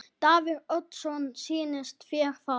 Davíð Oddsson: Sýnist þér það?